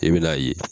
I bɛn'a ye